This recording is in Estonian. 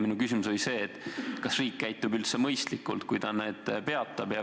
Minu küsimus oli, kas riik käitub üldse mõistlikult, kui ta need peatab.